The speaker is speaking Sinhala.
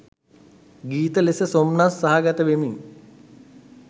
ගීත ලෙස සොම්නස් සහගත වෙමින්